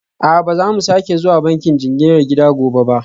A'a, ba za mu sake zuwa bankin jinginar gida gobe ba